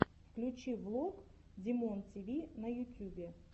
включи влог димонтиви на ютюбе